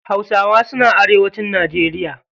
Hausawa suna arewacin najeriya.